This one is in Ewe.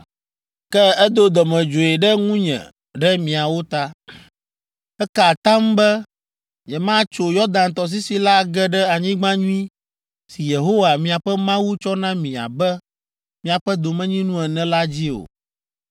Ke edo dɔmedzoe ɖe ŋunye ɖe miawo ta. Eka atam be nyematso Yɔdan tɔsisi la age ɖe anyigba nyui si Yehowa miaƒe Mawu tsɔ na mi abe miaƒe domenyinu ene la dzi o.